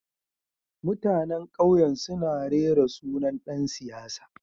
Mutanen kauyen suna rera sunan dan siyasa